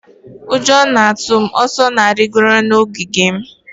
Ụjọ na-atụ m. Osa na-arịgoro n'ogige m.